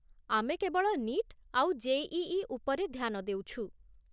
ଆମେ କେବଳ 'ନିଟ୍' ଆଉ ଜେ.ଇ.ଇ. ଉପରେ ଧ୍ୟାନ ଦେଉଛୁ ।